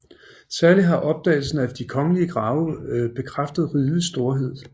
Særlig har opdagelsen af de kongelige grave bekræftet rigets storhed